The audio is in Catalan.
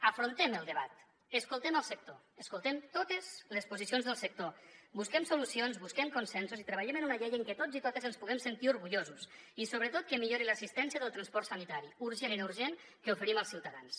afrontem el debat escoltem el sector escoltem totes les posicions del sector busquem solucions busquem consensos i treballem en una llei en què tots i totes ens puguem sentir orgullosos i sobretot que millori l’assistència del transport sanitari urgent i no urgent que oferim als ciutadans